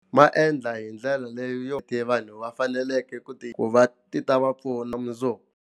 Ma endla hi ndlela leyo vanhu va faneleke ku ti ku va ti ta va pfuna mundzuku.